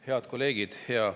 Head kolleegid!